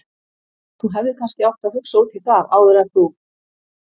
Þú hefðir kannski átt að hugsa út í það áður en þú.